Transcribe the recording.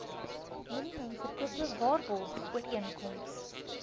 minimum verkope waarborgooreenkoms